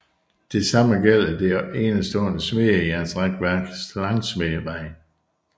Det samme gælder det enestående smedejernsrækværk langsmed vejen